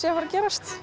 fara að